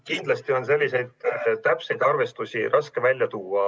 Kindlasti on selliseid täpseid arvestusi raske välja tuua.